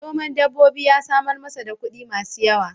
Noman dabbobi ya samar masa da kuɗi masu yawa.